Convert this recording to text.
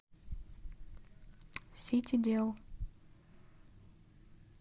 ситидел